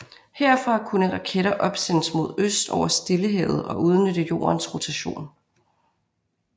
Herfra kunne raketter opsendes mod øst over Stillehavet og udnytte Jordens rotation